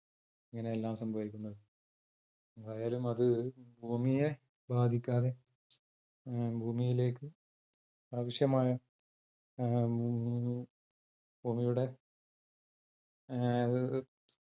ഇങ്ങനെയെല്ലാം സംഭവിക്കുന്നത്. എന്തായാലും അത് ഭൂമിയെ ബാധിക്കാതെ ഉം ഭൂമിയിലേക്ക് ആവശ്യമായ ഉം ഭൂമിയുടെ ഏർ